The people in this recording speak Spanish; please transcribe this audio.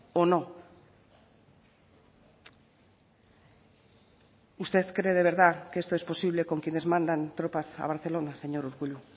o no usted cree de verdad que esto es posible con quienes mandan tropas a barcelona señor urkullu